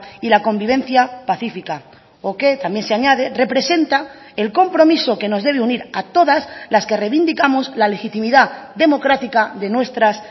y la convivencia pacífica o que también se añade representa el compromiso que nos debe unir a todas las que reivindicamos la legitimidad democrática de nuestras